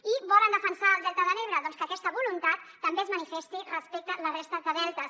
i volen defensar el delta de l’ebre doncs que aquesta voluntat també es manifesti respecte a la resta de deltes